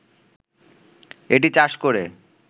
এটি চাষ করে